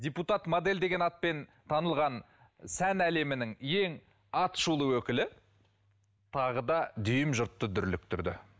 депутат модель деген атпен танылған сән әлемінің ең аты шулы өкілі тағы да дүйім жұртты дүрліктірді